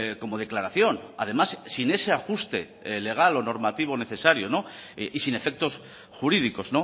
como declaración además sin ese ajuste legal o normativo necesario y sin efectos jurídicos